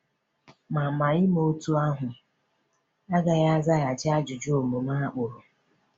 Ma Ma ime otú ahụ agaghị azaghachi ajụjụ omume a kpụrụ.